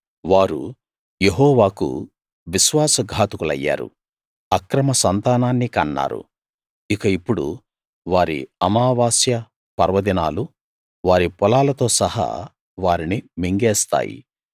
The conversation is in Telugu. వారు యెహోవాకు విశ్వాసఘాతకులయ్యారు అక్రమ సంతానాన్ని కన్నారు ఇక ఇప్పుడు వారి అమావాస్య పర్వదినాలు వారి పొలాలతో సహా వారిని మింగేస్తాయి